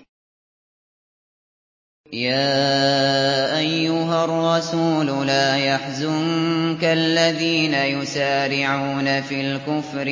۞ يَا أَيُّهَا الرَّسُولُ لَا يَحْزُنكَ الَّذِينَ يُسَارِعُونَ فِي الْكُفْرِ